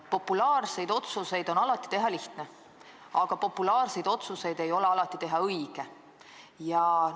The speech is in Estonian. Populaarseid otsuseid on alati lihtne teha, aga populaarseid otsuseid ei ole alati õige teha.